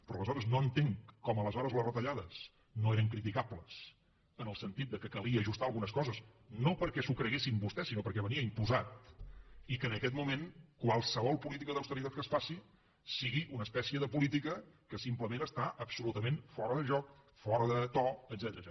però no entenc com aleshores les retallades no eren criticables en el sentit que calia ajustar algunes coses no perquè s’ho creguessin vostès sinó perquè venia imposat i que en aquest moment qualsevol política d’austeritat que es faci sigui una espècie de política que simplement està absolutament fora de joc fora de to etcètera